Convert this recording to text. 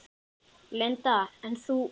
Linda: En þú?